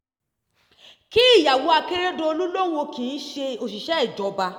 kí ìyàwó akérèdọ̀lú lòun kì í ṣe òṣìṣẹ́ ìjọba